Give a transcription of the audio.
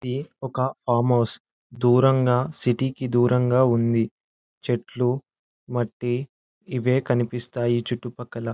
ఇది ఒక farm house .దూరంగా సిటీ కి దూరంగా ఉంది . చెట్లు మట్టి ఇవే కనిపిస్తాయి చుట్టు పక్కల.